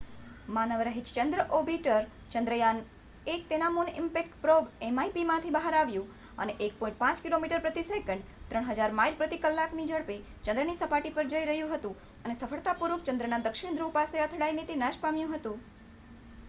માનવરહિત ચંદ્ર ઓર્બિટર ચંદ્રયાન-1 તેના મુન ઈમ્પેક્ટ પ્રોબ mip માંથી બહાર આવ્યું અને 1.5 કિલોમીટરપ્રતિ સેકન્ડ 3000 માઇલ પ્રતિ કલાકની ઝડપે ચંદ્રની સપાટી પર જઈરહ્યું હતું અને સફળતાપૂર્વક ચંદ્રના દક્ષિણ ધ્રુવ પાસે અથડાઈને તે નાશપામ્યું હતું